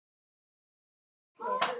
Ómar Gísli.